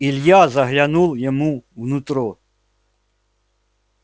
илья заглянул ему в нутро